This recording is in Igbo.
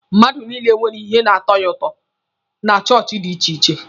Mmadụ niile nwere ihe na-atọ ya ụtọ na chọọchị dị iche iche.